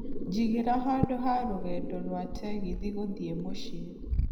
njigĩra handũ ha rũgendo rwaa tegithi gũthiĩ mũciĩ